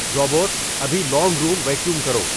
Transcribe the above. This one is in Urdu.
روبوٹ ابھی لونگ روم ویکیوم کرو